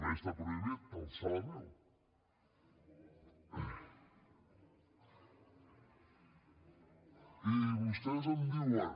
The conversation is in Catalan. també està prohibit alçar la veu i vostès em diuen